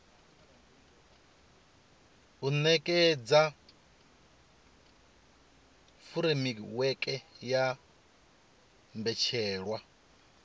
u nekedza furemiweke ya mbetshelwa